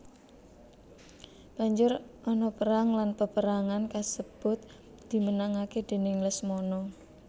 Banjur ana perang lan paperangan kasebut dimenangake déning Lesmana